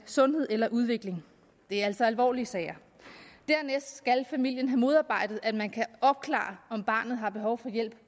sundhed eller udvikling det er altså alvorlige sager dernæst skal familien have modarbejdet at man kan opklare om barnet har behov for hjælp